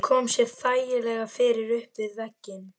Hann kom sér þægilega fyrir upp við vegginn.